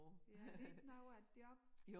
Ja er det ikke noget af et job?